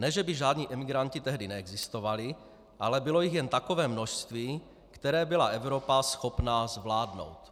Ne že by žádný imigranti tehdy neexistovali, ale bylo jich jen takové množství, které byla Evropa schopná zvládnout.